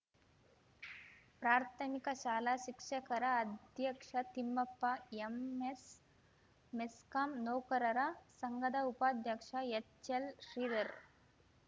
ಪ್ರಾಥಮಿಕ ಶಾಲಾ ಶಿಕ್ಷಕರ ಅಧ್ಯಕ್ಷ ತಿಮ್ಮಪ್ಪ ಎಂಎಸ್‌ ಮೆಸ್ಕಾಂ ನೌಕರರ ಸಂಘದ ಉಪಾಧ್ಯಕ್ಷ ಎಚ್‌ಎಲ್‌ ಶ್ರೀಧರ್‌